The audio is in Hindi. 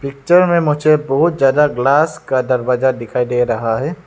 पिक्चर में मुझे बहोत ज्यादा ग्लास का दरवाजा दिखाई दे रहा है।